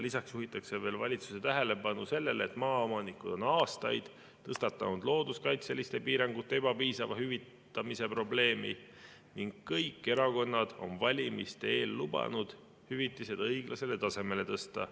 Lisaks juhitakse veel valitsuse tähelepanu sellele, et maaomanikud on aastaid tõstatanud looduskaitseliste piirangute ebapiisava hüvitamise probleemi ning kõik erakonnad on valimiste eel lubanud hüvitised õiglasele tasemele tõsta.